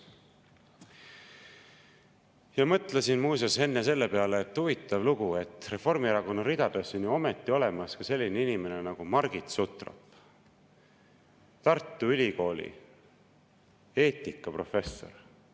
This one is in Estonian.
Ja mõtlesin muuseas enne selle peale: huvitav lugu, Reformierakonna ridades on ju ometi ka selline inimene nagu Margit Sutrop, Tartu Ülikooli eetikaprofessor.